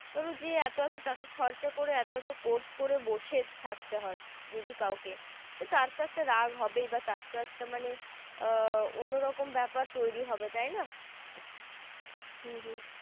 ধরো যে এতো এতো টাকা খরচা করে এতো এতো course করে বসে থাকতে হয় যদি কাউকে তো তার তো একটা রাগ হবেই বা তার তো একটা মানে আহ অন্য রকম বেপার তৈরী হবে তাই না।